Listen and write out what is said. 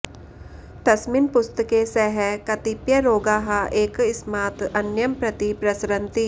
तस्मिन् पुस्तके सः कतिपय रोगाः एकस्मात् अन्यं प्रति प्रसरन्ति